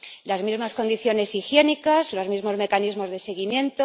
Las mismas condiciones higiénicas, los mismos mecanismos de seguimiento...